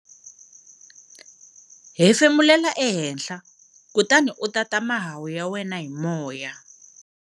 Hefemulela ehenhla kutani u tata mahahu ya wena hi moya.